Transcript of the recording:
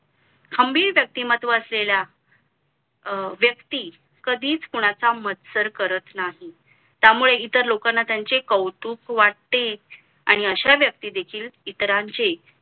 खंबीर व्यक्तीमत्व असलेल्या अं व्यक्ती कधीच कुणाचा मत्सर करत नाही त्यामुळे इतर लोकांना त्यांचे कौतुक वाटते आणि अशा व्यक्ती देखील इतरांचे